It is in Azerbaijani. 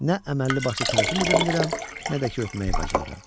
Nə əməlli başlı təlim edə bilirəm, nə də ki öpməyi bacarıram.